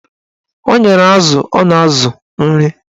O nyere azụ ọ na-azụ nri